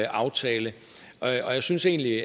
aftale og jeg synes egentlig